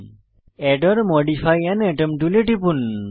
add or modify আন আতম টুলে টিপুন